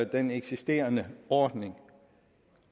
den eksisterende ordning